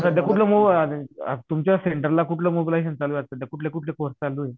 आता सध्या कोणतं तुमच्या सेण्टरला कोणतं मोबालीझशन चालू आहे आता कुठल्या कुठल्या कोर्से चालू आहे